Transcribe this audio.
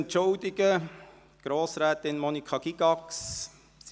Leider musste sich Grossrätin Monika Gygax entschuldigen.